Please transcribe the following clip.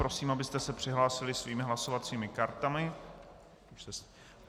Prosím, abyste se přihlásili svými hlasovacími kartami.